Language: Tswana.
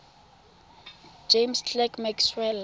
james clerk maxwell